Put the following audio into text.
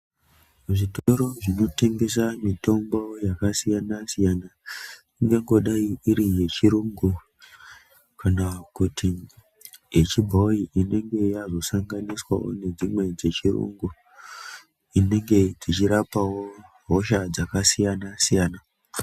Zvitoro zvinotengesa mitombo yakasiyana -siyana, ingangodai iri yechirungu Kana kuti yechibhoyi inenge yazosa nganiswawo nedzimwe dzechirungu inenge dzechirapawo hosha dzakasiyana-siyana.